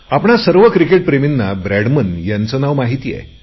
आपणा सर्व क्रिकेटप्रेमींना ब्रॅडमन यांचे नाव माहिती आहे